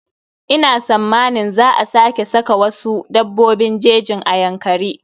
Ina sammanin za a sake saka wasu dabbobin jejin a Yankari.